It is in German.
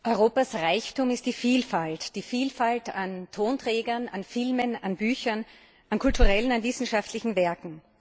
Europas Reichtum ist die Vielfalt, die Vielfalt an Tonträgern, an Filmen, an Büchern, an kulturellen und wissenschaftlichen Werten.